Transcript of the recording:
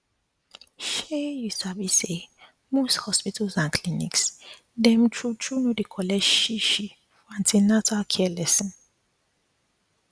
shey u sabi say most hospitals and clinics dem true true no dey collect shishi for an ten atal care lesson